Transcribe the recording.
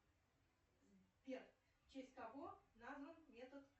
сбер в честь кого назван метод